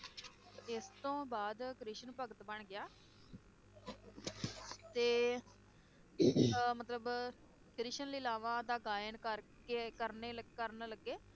ਇਸ ਤੋਂ ਬਾਅਦ ਕ੍ਰਿਸ਼ਨ ਭਗਤ ਬਣ ਗਿਆ ਤੇ ਅਹ ਮਤਲਬ ਕ੍ਰਿਸ਼ਨ ਲੀਲਾਵਾਂ ਦਾ ਗਾਇਨ ਕਰਕੇ ਕਰਨੇ~ ਕਰਨ ਲਗੇ